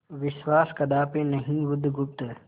विश्वास कदापि नहीं बुधगुप्त